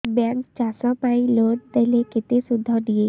bank ଚାଷ ପାଇଁ loan ଦେଲେ କେତେ ସୁଧ ନିଏ